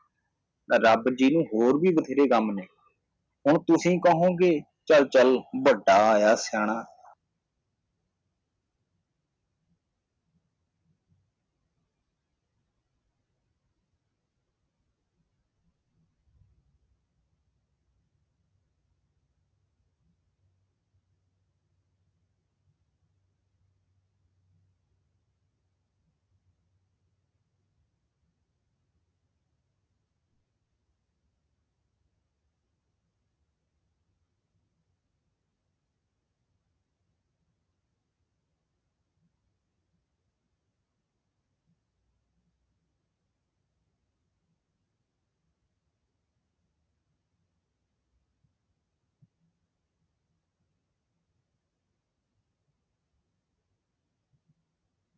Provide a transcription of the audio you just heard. ਰੱਬ ਦੇ ਹੋਰ ਵੀ ਵਧੇਰੇ ਕੰਮ ਨੇ ਹੁਣ ਤੁਸੀਂ ਕਹੁੰਗੇ ਕਿ ਚੱਲ-ਚੱਲ ਵੱਡਾ ਆਇਆ ਸਿਆਣਾ